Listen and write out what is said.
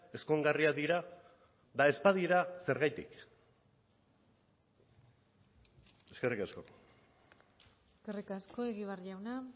ezkongarriak dira eta ez badira zergatik eskerrik asko eskerrik asko egibar jauna